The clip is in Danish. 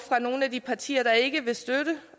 fra nogle af de partier der ikke vil støtte